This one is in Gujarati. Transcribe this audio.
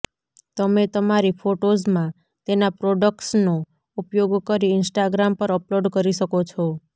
તમે તમારી ફોટોજમાં તેના પ્રોડકટ્સનો ઉપયોગ કરી ઈંસ્ટાગ્રામ પર અપલોડ કરી શકો છો